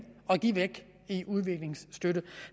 at give væk i udviklingsstøtte